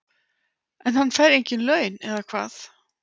En hann fær engin laun, eða hvað?